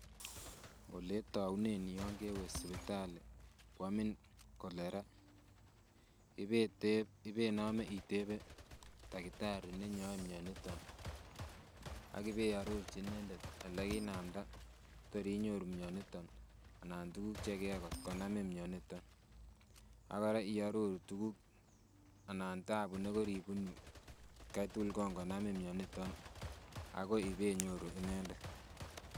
Oletounen yan kewe sipitali koamin cholera ibetepe ibenome itepe takitari nenyoe mioniton ak ibe arorchi inendet elekinamda tor inyoru mioniton anan tuguk chekiyai kotkonamin mioniton ak kora iororu tuguk anan tabu nekoribunu atkai tugul kon konamin mioniton akoi ibenyoru inendet